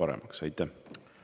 paremaks teevad.